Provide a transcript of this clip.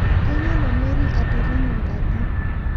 Keyiolo Mary atirinyo nkaji